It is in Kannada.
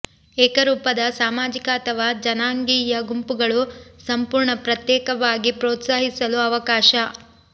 ಏಕರೂಪದ ಸಾಮಾಜಿಕ ಅಥವಾ ಜನಾಂಗೀಯ ಗುಂಪುಗಳು ಸಂಪೂರ್ಣ ಪ್ರತ್ಯೇಕವಾಗಿ ಪ್ರೊತ್ಸಾಹಿಸಲು ಅವಕಾಶ